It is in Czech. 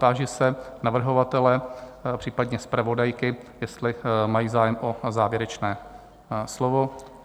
Táži se navrhovatele, případně zpravodajky, jestli mají zájem o závěrečné slovo?